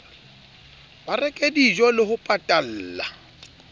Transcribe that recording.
ba reke dijole ho patalla